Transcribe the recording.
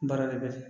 Baara de bɛ kɛ